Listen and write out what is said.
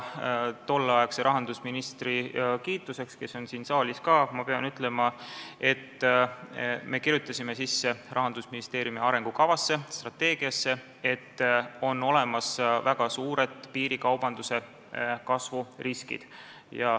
Tolleaegse rahandusministri kiituseks pean ütlema, et me kirjutasime Rahandusministeeriumi arengukavasse, strateegiasse, et on olemas väga suured piirikaubanduse kasvu riskid.